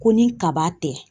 Ko ni kaba tɛ.